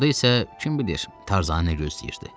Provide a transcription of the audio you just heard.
Orda isə kim bilir, Tarzanı nə gözləyirdi.